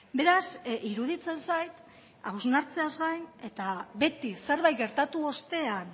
beraz iruditzen zait hausnartzeaz gain eta beti zerbait gertatu ostean